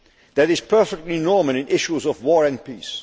That is perfectly normal in issues of war and peace.